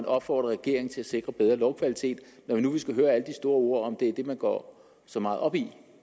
opfordrer regeringen til at sikre bedre lovkvalitet når vi nu skal høre alle de store ord om at det er det man går så meget op i